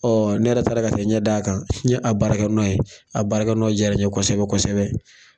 Ɔ ne yɛrɛ taara ka taa ɲɛ d'a kan n ye a baarakɛnɔ ye a baarakɛnɔ diyara n ɲɛ kosɛbɛ kosɛbɛ